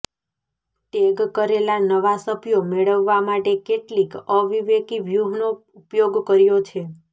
tag કરેલા નવા સભ્યો મેળવવા માટે કેટલીક અવિવેકી વ્યૂહનો ઉપયોગ કર્યો છે